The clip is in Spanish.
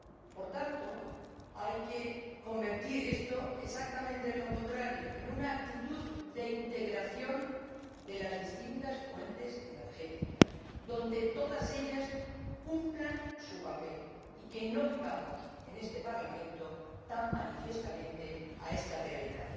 Por tanto, hay que convertir esto exactamente en lo contrario, en una actitud de integración de las distintas fuentes energéticas, donde todas ellas cumplan su papel, y que no vivamos en este Parlamento tan manifiestamente de espaldas a esta realidad.